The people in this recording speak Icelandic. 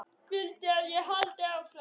Viltu að ég haldi áfram?